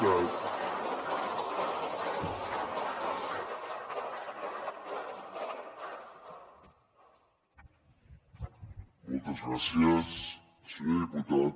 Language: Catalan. moltes gràcies senyor diputat